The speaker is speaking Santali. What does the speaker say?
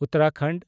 ᱩᱛᱛᱚᱨᱟᱠᱷᱚᱱᱰ